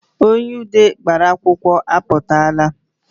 Onye ude gbara akwụkwọ apụtaala